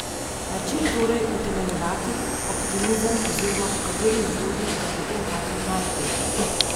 Na čem torej utemeljevati optimizem oziroma po kateri metodi ga potemtakem najti?